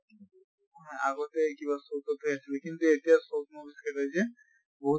আগতে কিবা হৈ আছিল কিন্তু এতিয়া যে বহুত